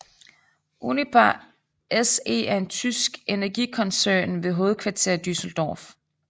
Uniper SE er en tysk energikoncern med hovedkvarter i Düsseldorf